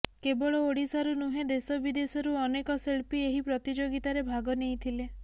କେବଳ ଓଡ଼ିଶାରୁ ନୁହେଁ ଦେଶ ବିଦେଶରୁ ଅନେକ ଶିଲ୍ପୀ ଏହି ପ୍ରତିଯୋଗିତାରେ ଭାଗ ନେଇଥିଲେ